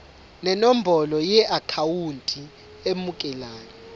nenombolo yeakhawunti emukelayo